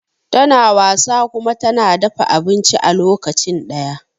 tana wasa kuma tana dafa abinci a lokacin daya